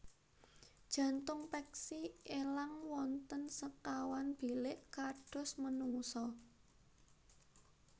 Jantung peksi elang wonten sekawan bilik kados menungsa